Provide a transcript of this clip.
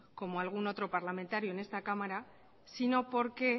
como algún otro parlamentario en esta cámara sino porque